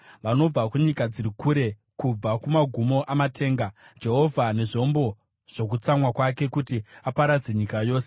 Vanobva kunyika dziri kure, kubva kumagumo amatenga, Jehovha nezvombo zvokutsamwa kwake, kuti aparadze nyika yose.